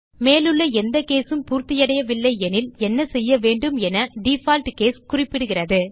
மேலுள்ள எந்த கேஸ் உம் பூர்த்தியடையவில்லை எனில் என்ன செய்யவேண்டும் என டிஃபால்ட் கேஸ் குறிப்பிடுகிறது